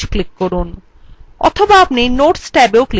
অথবা আপনি notes ট্যাবyou click করতে পারেন